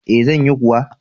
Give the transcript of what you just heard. E, zan yi kuwa.